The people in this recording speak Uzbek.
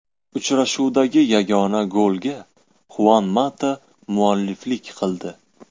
Uchrashuvdagi yagona golga Xuan Mata mualliflik qildi.